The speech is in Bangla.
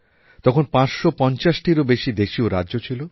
তখন ৫৫০টিরও বেশি দেশীয় রাজ্য ছিল